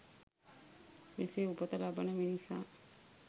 මෙසේ උපත ලබන මිනිසා